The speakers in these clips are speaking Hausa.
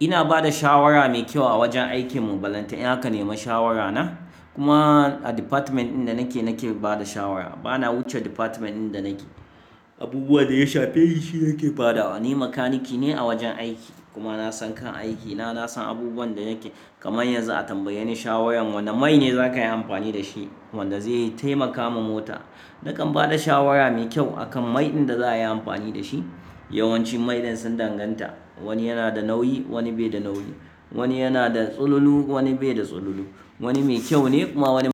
Ina ba da shawara mai kyau a wajen aikin mu. Balanta ka nema shawara na? Kuma a department ɗin da nake, nake ba da shawara. Bana wuce difatment ɗin da nake. Abubuwan da ya shafi shi yake ba dawa. Ni makaniki ne a wajen aiki kuma na san kan aiki na, na san abubuwan da yake. Kamar yanzu a tambaye ni shawarar wanne mai ne za ka yi amfani da shi wanda zai taimaka ma mota, nakan ba da shawara mai kyau a kan mai ɗin da za a yi amfani da shi. Yawanci mai ɗin sun danganta, wani yana da nauyi wani bai da nauyi, wani yana da tsalulu wani bai da tsalulu, wani mai kyau ne kuma wani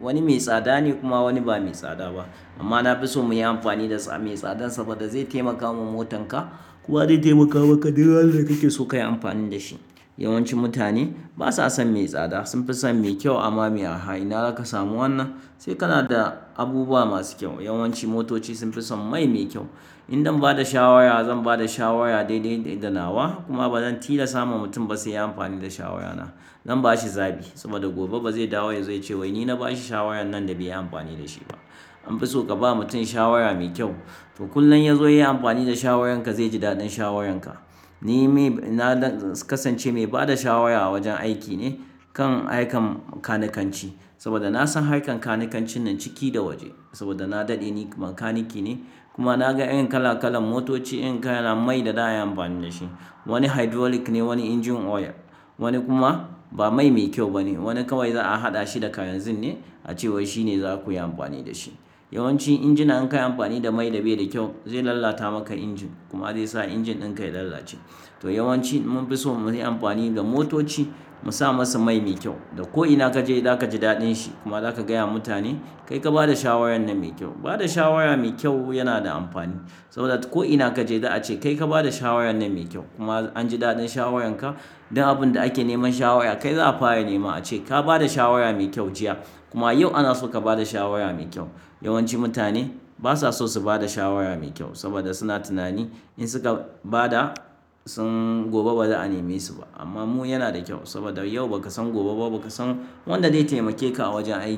wani mai tsada ne kuma wani ba mai tsada ba. Amma na fi so mu yi amfani da mai tsadan saboda zai taimaka wa motan ka kuma zai taimaka wa ka duk wannan da kike so kayi amfani da shi. Yawancin mutane basa son mai tsada, sun fi son mai kyau amma me a haina aka samu wannan? Sai kana da abubuwa masu kyau. Yawanci motoci sun fi son mai mai kyau. In dan ba da shawara zan ba da shawara daidai da nawa, kuma bazan tilas tama mutum ba sai ya amfani da shawara na. Zan bashi zabi, saboda gobe bazai dawo ba zai ce wai ni na bashi shawarar nan da bai yi amfani da shi ba. An fi so ka ba mutum shawara mai kyau, to kulan ya zo ya yi amfani da shawarar ka zai ji daɗin shawarar ka na dan kasance mai bada shawara a wajen aiki ne kan harkan makanikanci saboda na san harkan makanikanci ne ciki da waje. Saboda na daɗe ni makanike ne kuma na ga irin kala kalan motoci, irin kalan mai da za a yi amfani da shi. Wani hydrolic ne, wani engine oil, wani kuma ba mai mai kyau ba ne. Wani kawai za a haɗa shi da kalanzir ne a ce wai shi ne za ku yi amfani da shi. Yawanci injina in ka yi amfani da mai da bai da kyau zai lalata maka injin kuma zai sa injin ɗin ka ya lalace. To yawanci mun fi son mu yi amfani da motoci mu sa masu mai mai kyau. Da ko ina ka je za ka ji daɗin shi kuma za ka gaya wa mutane, "Kai ka ba da shawarar nan mai kyau." Ba da shawara mai kyau yana da amfani saboda ko ina kaje za'a ce kai ka ba da shawarar nan mai kyau kuma an ji daɗin shawarar ka. Duk abun da ake neman shawara kai za'a fara nema a ce, "Ka ba da shawara mai kyau jiya kuma yau ana so ka ba da shawara mai kyau." Yawancin mutane basa so su bada shawara mai kyau saboda suna tunani in suka ba da sun gobe ba za a nemi su ba. Amma mu yana da kyau saboda yau baka san gobe ba, baka san wanda zai taimake ka a wajen aiki.